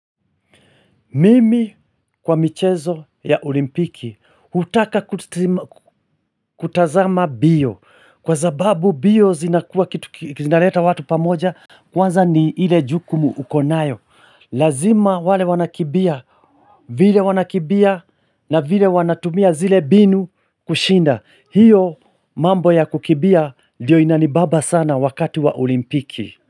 Mimi kwa michezo ya olimpiki hutaka kutazama mbio. Kwa zababu mbio zinakua kitu kinaleta watu pamoja kwanza ni ile jukumu uko nayo. Lazima wale wanakimbia vile wanakimbia na vile wanatumia zile mbinu kushinda. Hio mambo ya kukimbia ndiyo inanibamba sana wakati wa olimpiki.